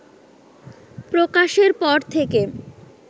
প্রকাশের পর থেকে